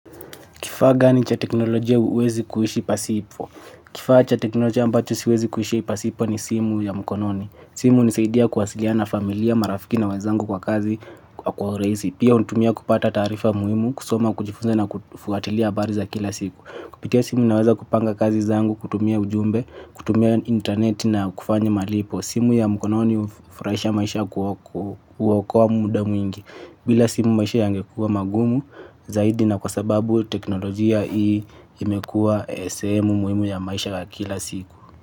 Kifaa gani cha teknolojia huwezi kuishi pasipo? Kifaa cha teknolojia ambacho siwezi kuishi pasipo ni simu ya mkononi. Simu hunisaidia kuwasiliana na familia, marafiki na wezangu kwa kazi kwa urahisi. Pia huitumia kupata taarifa muhimu, kusoma, kujifunza na kufuatilia habari za kila siku. Kupitia simu naweza kupanga kazi zangu, kutumia ujumbe, kutumia internet na kufanya malipo. Simu ya mkononi hufurahisha maisha kuokoa muda mwingi. Bila simu maisha yangekuwa magumu, zaidi na kwa sababu teknolojia hii imekuwa sehemu muhimu ya maisha ya kila siku.